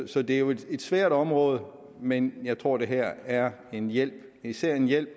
så det er jo et svært område men jeg tror at det her er en hjælp især en hjælp